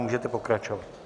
Můžete pokračovat.